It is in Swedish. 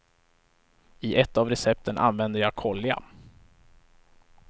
I ett av recepten använder jag kolja.